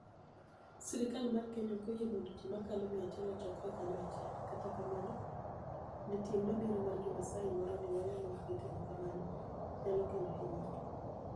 Sirkal mar Keniya ok oyie monido ji mokalo mia achiel ochokre kaniyo achiel, kata kamano, ni e tienig mabiro mar jo MaSaai moroni weyo ma ok gitimo kamano niyalo kelo hiniyruok.